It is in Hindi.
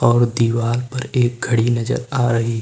और दीवाल पर एक घड़ी नजर आ रही--